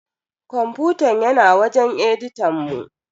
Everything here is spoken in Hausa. Kwamfutan yana wajen editan mu.